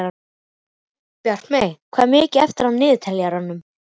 Bjartmey, hvað er mikið eftir af niðurteljaranum?